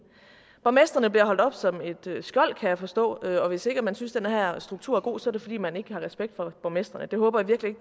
borgmestrene bliver holdt op som et skjold kan jeg forstå og hvis ikke man synes den her struktur er god er det fordi man ikke har respekt for borgmestrene jeg håber virkelig